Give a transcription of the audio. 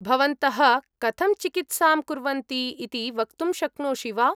भवन्तः कथं चिकित्सां कुर्वन्ति इति वक्तुं शक्नोषि वा?